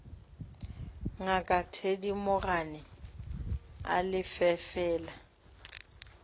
ngaka thedimogane a lefe fela